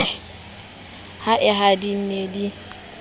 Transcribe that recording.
a haedi ne di le